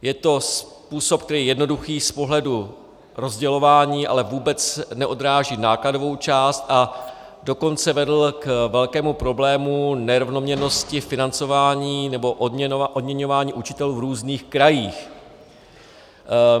Je to způsob, který je jednoduchý z pohledu rozdělování, ale vůbec neodráží nákladovou část, a dokonce vedl k velkému problému nerovnoměrnosti financování nebo odměňování učitelů v různých krajích.